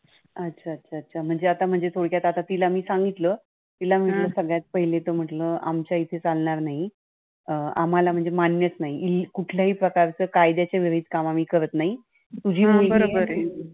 अच्छा. अच्छा. अच्छा. म्हणजे आता म्हणजे आता थोडक्यात तिला मी सांगितलं तिला म्हटलं तिला की आमच्या इथे तर काही चालणार नाही, अं आम्हाला म्हणजे मान्यच नाही की कुठल्याच कुठलाच प्रकारचे कायद्याचे विरुद्ध काम आम्ही करत नाही. तुझी